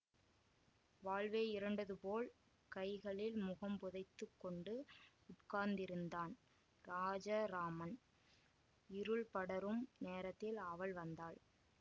வாழ்வே இருண்டதுபோல் கைகளில் முகம் புதைத்துக் கொண்டு உட்கார்ந்திருந்தான் ராஜராமன் இருள் படரும் நேரத்தில் அவள் வந்தாள்